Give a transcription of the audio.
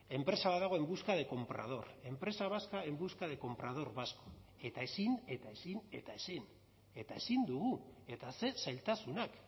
enpresa bat dago en busca de comprador empresa vasca en busca de comprador vasco eta ezin eta ezin eta ezin eta ezin dugu eta ze zailtasunak